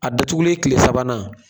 A datugulen kile sabanan